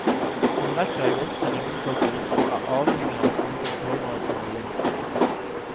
Hun rekker ikke opp til ringeklokken og er avhengig av at noen hører at hun vil inn.